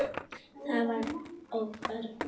Það var og örn mikill.